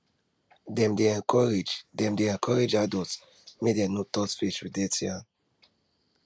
dem dey encourage dem dey encourage adults make dem no dey touch face with dirty hand